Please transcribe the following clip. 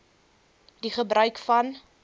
die gebruik van